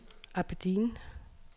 Aberdeen